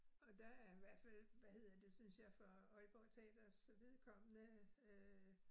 Og der er hvert fald hvad hedder det synes jeg for Aalborg Teaters vedkommende øh